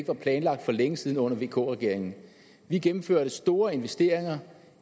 var planlagt for længe siden under vk regeringen vi gennemførte store investeringer